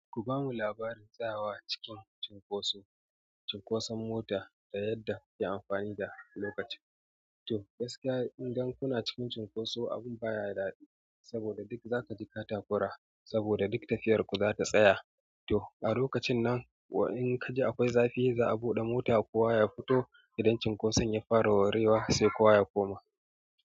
Ku bamu labarin tsayawa cikin cunkoso, cunkoson mota da yadda yayi amfani da lokacin. To gaskiya idan kuna cikin cunkoso abun baya da daɗi, saboda duk zaka ji kata-kura saboda duk tafiyar ku za ta tsaya. To a lokacin nan in kaji akwai zafi za'a buɗe mota kowa ya fito idan cunkoson ya fara warewa sai kowa ya koma.